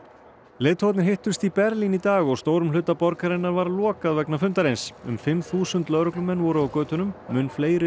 leiðtogarnir hittust í Berlín í dag og stórum hluta borgarinnar var lokað vegna fundarins um fimm þúsund lögreglumenn voru á götunum mun fleiri